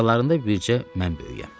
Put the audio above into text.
Aralarında bircə mən böyüyəm.